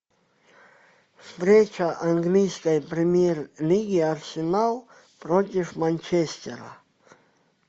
встреча английской премьер лиги арсенал против манчестера